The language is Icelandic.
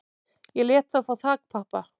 Ég lét þá fá þakpappa